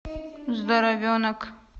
здоровенок